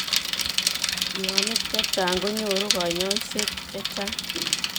Mionik chechang' konyoruu kanyoiseet chechang'